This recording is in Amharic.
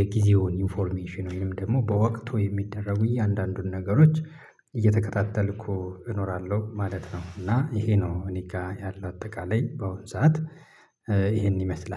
የጊዜውን ኢንፎርሜሽን ወይም ደግሞ በወቅቱ የሚደረጉ እያንዳንዱን ነገሮች እየተከታተልኩ እኖራለሁ ማለት ነው። እና ይሄ ነው እኔ ጋር ያለው አጠቃላይ በሆን ሰዓት ይሄን ይመስላል።